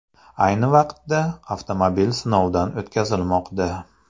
Ayni vaqtda avtomobil sinovdan o‘tkazilmoqda.